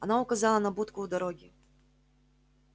она указала на будку у дороги